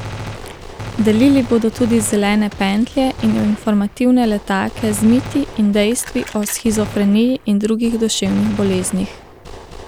Delili bodo tudi zelene pentlje in informativne letake z miti in dejstvi o shizofreniji in drugih duševnih boleznih.